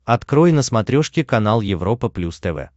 открой на смотрешке канал европа плюс тв